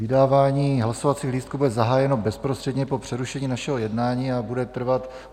Vydávání hlasovacích lístků bude zahájeno bezprostředně po přerušení našeho jednání a bude trvat...